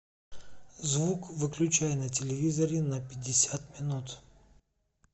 звук выключай на телевизоре на пятьдесят минут